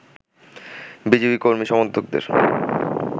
BJP কর্মী-সমর্থকদের